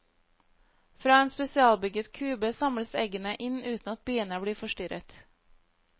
Fra en spesialbygget kube samles eggene inn uten at biene blir forstyrret.